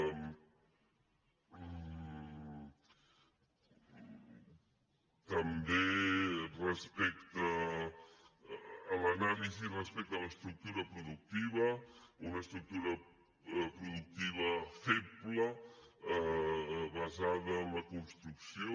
també respecte a l’anàlisi respecte a l’estructura productiva una estructura productiva feble basada en la construcció